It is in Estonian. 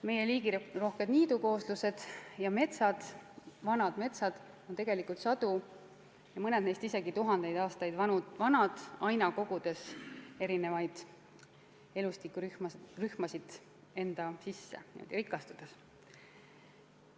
Meie liigirohked niidukooslused ja vanad metsad on tegelikult sadu, mõned neist isegi tuhandeid aastaid vanad, olles aina kogunud erinevaid elustikurühmasid enda sisse ning rikastunud.